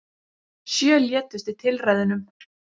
Sjö létust í tilræðunum